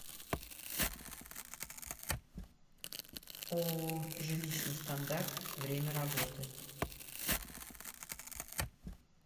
ооо жилищный стандарт время работы